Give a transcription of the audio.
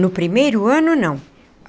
No primeiro ano, não.